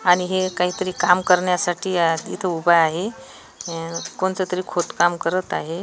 आणि हे काहीतरी काम करण्यासाठी इथं उभा आहे अ कोणततरी खोदकाम करत आहे.